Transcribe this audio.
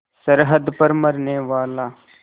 सरहद पर मरनेवाला